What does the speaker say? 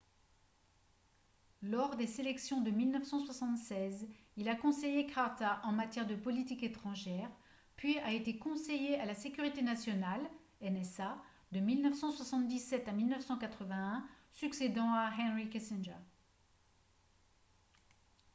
lors des sélections de 1976 il a conseillé carter en matière de politique étrangère puis a été conseiller à la sécurité nationale nsa de 1977 à 1981 succédant à henry kissinger